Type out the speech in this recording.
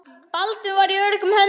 Baldvin var í öruggum höndum.